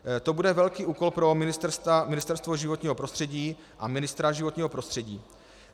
To bude velký úkol pro Ministerstvo životního prostředí a ministra životního prostředí.